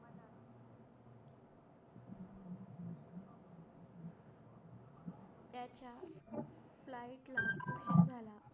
flight लवकर